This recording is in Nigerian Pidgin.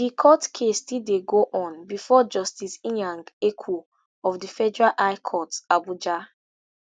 di court case still dey go on before justice inyang ekwo of di federal high court abuja